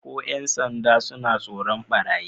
Ko ‘yan sanda suna tsoron barayin